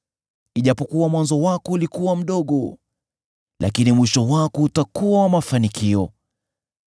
Ijapokuwa mwanzo wako ulikuwa mdogo, lakini mwisho wako utakuwa wa mafanikio.